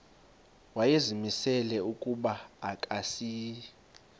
wayezimisele ukuba akasayi